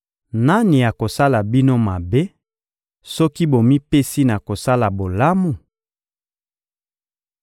Nani akosala bino mabe soki bomipesi na kosala bolamu?